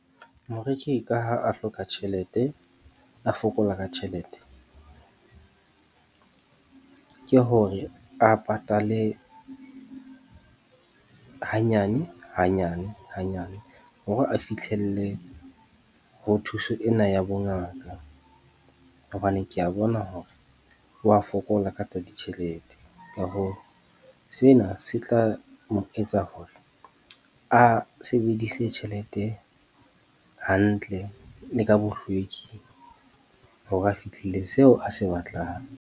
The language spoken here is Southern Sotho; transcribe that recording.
Moreki ka ha a hloka tjhelete, a fokola ka tjhelete. Ke hore a patale hanyane hanyane hanyane hore a fihlelle ho thuso ena ya bongaka. Hobane kea bona hore wa fokola ka tsa ditjhelete. Ka hoo sena se tla mo etsa hore a sebedise tjhelete hantle le ka bohlweki hore a fihlile seo a se batlang.